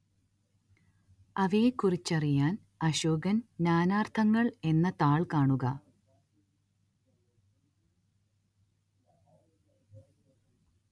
അവയെക്കുറിച്ചറിയാന്‍ അശോകന്‍ നാനാര്‍ത്ഥങ്ങള്‍ എന്ന താള്‍ കാണുക